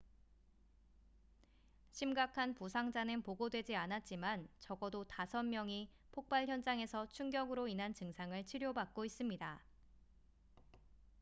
심각한 부상자는 보고되지 않았지만 적어도 5명이 폭발 현장에서 충격으로 인한 증상을 치료받고 있습니다